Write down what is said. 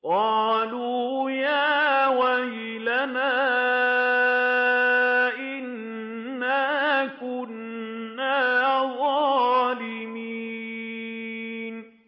قَالُوا يَا وَيْلَنَا إِنَّا كُنَّا ظَالِمِينَ